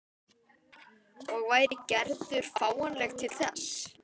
Og væri Gerður fáanleg til þess?